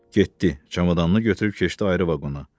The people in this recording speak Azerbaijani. Getdi, çamadanını götürüb keçdi ayrı vaqona.